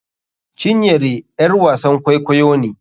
Cinyere ƴar wasan kwaikwayo ne.